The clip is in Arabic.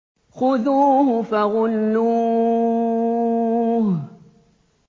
خُذُوهُ فَغُلُّوهُ